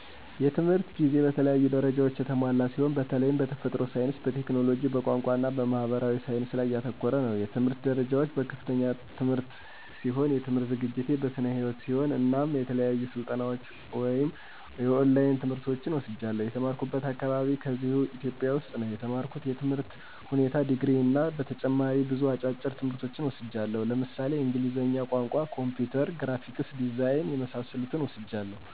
የትምህርት ጊዜ በተለያዩ ደረጃዎች የተሞላ ሲሆን በተላይም በተፈጥሮ ሳይንስ፣ በቴክኖሎጂ፣ በቋንቋ እና በማህበራዊ ሳይንስ ላይ ያተኮረ ነው። የትምህርት ደረጃዎች፦ በከፍተኛ ትምህርት ሲሆን የትምህርት ዝግጅቴን በስነ ህይወት ሲሆን እናም የተለያዩ ስልጠናዎች ወይም የኦላይን ትምህርቶችን ወስጃለሁ። የተማራኩበት አካባቢ ከዚህው ኢትዮጵያ ውስጥ ነው የተማርኩት የትምህር ሁኔታ ድግሪ እና ተጨማሪ ብዙ አጫጭር ትምህርቶች ወስጃለሁ ለምሳሌ እንግሊዝኛ ቋንቋ፣ ኮምፒውተር፣ ግራፊክስ ዲዛይን የመሳሰሉትን ወስጃለሁ።